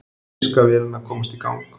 Þýska vélin að komast í gang